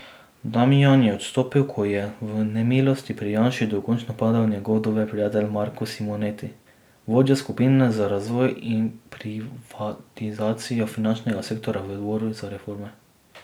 Damijan je odstopil, ko je v nemilosti pri Janši dokončno padel njegov dober prijatelj Marko Simoneti, vodja skupine za razvoj in privatizacijo finančnega sektorja v odboru za reforme.